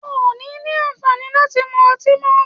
O ò ní ní àǹfàní láti mu ọtí mọ́.